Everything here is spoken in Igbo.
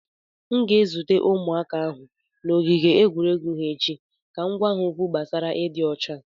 M ga-ezute ụmụaka ahụ n’ogige egwuregwu ha echi ka m gwa ha okwu gbasara ịdị ọcha.